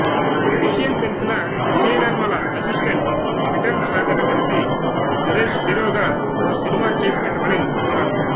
ఈ విషయం తెలిసిన విజయనిర్మల అసిస్టెంట్ విఠల్ సాగర్ ని కలిసి నరేష్ హీరోగా ఓ సినిమా చేసిపెట్టమని కోరారు